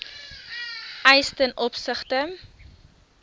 eise ten opsigte